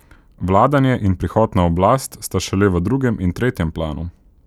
Vladanje in prihod na oblast sta šele v drugem in tretjem planu.